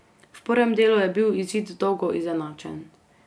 V prvem delu je bil izid dolgo izenačen.